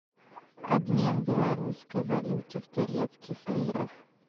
обмен белорусской валюты в турецких лирах